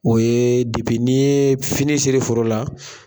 O ye ye fini sɛri foro la.